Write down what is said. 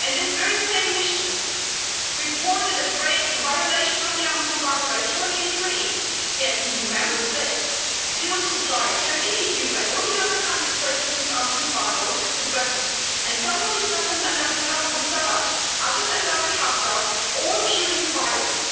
and this very same mission reported a violation of the arms embargo by Turkey and the UAE, yet EU Member States still supply Turkey, the UAE and all the other countries breaking this arms embargo with weapons, and some of these weapons end up with Sarraj, others end up with Haftar, all fuelling the violence.